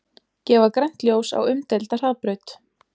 Gefa grænt ljós á umdeilda hraðbraut